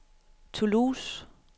Toulouse